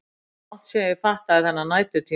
Langt síðan ég fattaði þennan næturtíma.